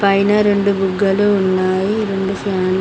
పైనా రెండు బుగ్గలు ఉన్నాయి రెండు ఫ్యాన్లు